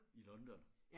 I London